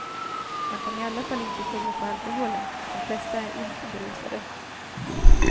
Man kan i alla fall inte skylla på alkoholen, de flesta är inte berusade.